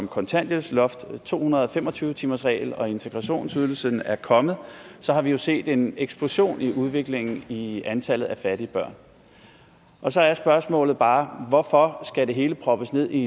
kontanthjælpsloftet to hundrede og fem og tyve timersreglen og integrationsydelsen er kommet har vi jo set en eksplosion i udviklingen i antallet af fattige børn og så er spørgsmålet bare hvorfor skal det hele proppes ned i